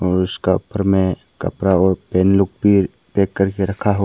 और उसका ऊपर में कपड़ा और लोग भी पैक करके रखा हुआ--